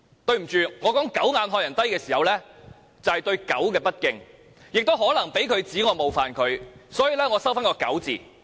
對不起，我說"狗眼看人低"是對狗不敬，也可能被他指我冒犯他，所以我收回"狗"字。